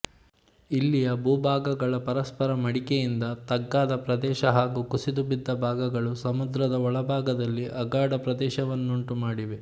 ಇಲ್ಲಿಯ ಭೂಭಾಗಗಳ ಪರಸ್ಪರ ಮಡಿಕೆಯಿಂದ ತಗ್ಗಾದ ಪ್ರದೇಶ ಹಾಗೂ ಕುಸಿದುಬಿದ್ದ ಭಾಗಗಳು ಸಮುದ್ರದ ಒಳಭಾಗದಲ್ಲಿ ಅಗಾಧ ಪ್ರದೇಶವನ್ನುಂಟುಮಾಡಿವೆ